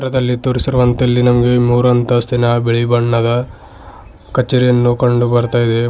ದಲ್ಲಿ ತೋರಿಸಿರುವಂತೆ ಇಲ್ಲಿ ನಮ್ಗೆ ಮೂರು ಅಂತಸ್ತಿನ ಬಿಳಿ ಬಣ್ಣದ ಕಛೇರಿಯನ್ನು ಕಂಡು ಬರ್ತಾ ಇದೆ.